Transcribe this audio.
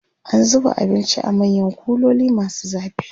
an zuba abinci a manyan kuloli masu zafi